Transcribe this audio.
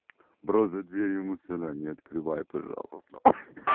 бро за дверью милиция не открывай пожалуйста